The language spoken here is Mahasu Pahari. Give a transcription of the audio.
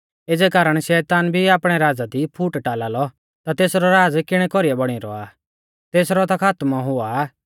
एज़ै कारण शैतान भी आपणै राज़ा दी फूट टाला लौ ता तेसरौ राज़ किणै कौरीऐ बौणी रौआ तेसरौ ता खातमौ हुआ आ